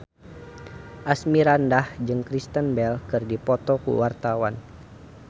Asmirandah jeung Kristen Bell keur dipoto ku wartawan